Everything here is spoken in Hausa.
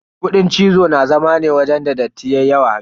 Kuɗin cizo na zama ne wajen da datti yayi yawa.